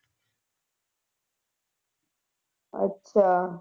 ਅੱਛਾ।